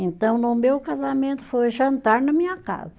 Então no meu casamento foi jantar na minha casa.